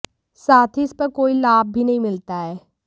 साथ ही इस पर कोई लाभ भी नहीं मिलता है